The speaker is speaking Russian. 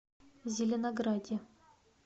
зеленограде